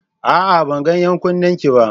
A'a! Ban ga 'yan kunnenki ba.